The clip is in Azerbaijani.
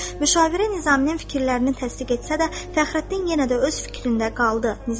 Müşavir Nizaminin fikirlərini təsdiq etsə də, Fəxrəddin yenə də öz fikrində qaldı.